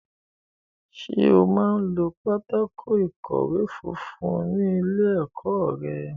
Ṣé ẹ máa ń lo pátákó ìkọ̀wé funfun ní ilé-ẹ̀kọ́ rẹ?